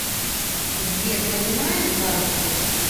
сбер понимаешь банту